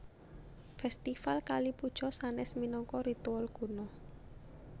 Fèstival Kali Puja sanès minangka ritual kuno